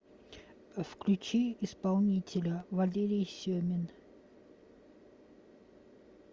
включи исполнителя валерий семин